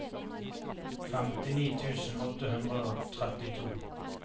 femtini tusen åtte hundre og trettito